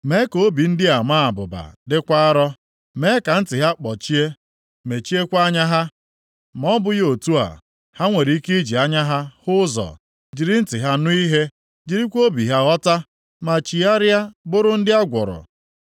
Mee ka obi ndị a maa abụba, dịkwa arọ, + 6:10 \+xt Abụ 119:70; Ọrụ 7:51\+xt* mee ka ntị ha kpọchie, mechiekwa anya ha. Ma ọ bụghị otu a, ha nwere ike iji anya ha hụ ụzọ, jiri ntị ha nụ ihe, jirikwa obi ha ghọta, ma chigharịa bụrụ ndị a gwọrọ.”